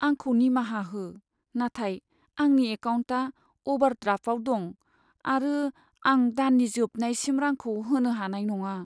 आंखौ निमाहा हो, नाथाय आंनि एकाउन्टआ अभारड्राफ्टआव दं आरो आं दाननि जोबनायसिम रांखौ होनो हानाय नङा।